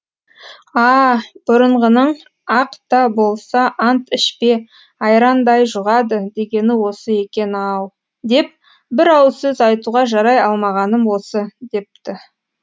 а бұрынғының ақ та болса ант ішпе айрандай жұғады дегені осы екен ау деп бір ауыз сөз айтуға жарай алмағаным осы депті